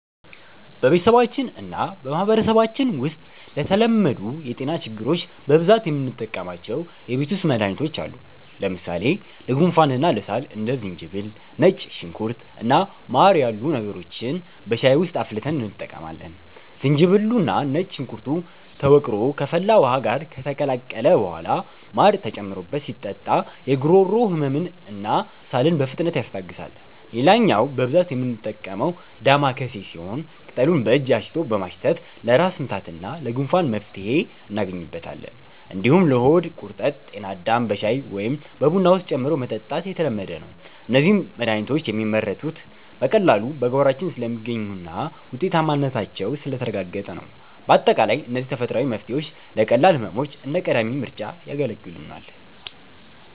በቤተሰባችንና በማህበረሰባችን ውስጥ ለተለመዱ የጤና ችግሮች በብዛት የምንጠቀማቸው የቤት ውስጥ መድሃኒቶች አሉ። ለምሳሌ ለጉንፋንና ለሳል እንደ ዝንጅብል፣ ነጭ ሽንኩርት እና ማር ያሉ ነገሮችን በሻይ ውስጥ አፍልተን እንጠቀማለን። ዝንጅብሉና ነጭ ሽንኩርቱ ተወቅሮ ከፈላ ውሃ ጋር ከተቀላቀለ በኋላ ማር ተጨምሮበት ሲጠጣ የጉሮሮ ህመምንና ሳልን በፍጥነት ያስታግሳል። ሌላኛው በብዛት የምንጠቀመው 'ዳማከሴ' ሲሆን፣ ቅጠሉን በእጅ አሽቶ በማሽተት ለራስ ምታትና ለጉንፋን መፍትሄ እናገኝበታለን። እንዲሁም ለሆድ ቁርጠት 'ጤናዳም' በሻይ ወይም በቡና ውስጥ ጨምሮ መጠጣት የተለመደ ነው። እነዚህ መድሃኒቶች የሚመረጡት በቀላሉ በጓሯችን ስለሚገኙና ውጤታማነታቸው ስለተረጋገጠ ነው። ባጠቃላይ እነዚህ ተፈጥሯዊ መፍትሄዎች ለቀላል ህመሞች እንደ ቀዳሚ ምርጫ ያገለግሉናል።